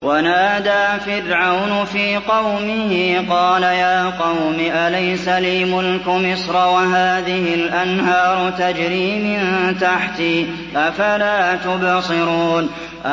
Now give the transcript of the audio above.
وَنَادَىٰ فِرْعَوْنُ فِي قَوْمِهِ قَالَ يَا قَوْمِ أَلَيْسَ لِي مُلْكُ مِصْرَ وَهَٰذِهِ الْأَنْهَارُ تَجْرِي مِن تَحْتِي ۖ أَفَلَا تُبْصِرُونَ